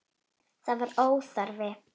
Það var óþarfi.